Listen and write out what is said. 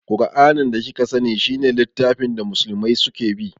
Ƙur'anin da kika sani shi ne littafin da musulmai su ke bi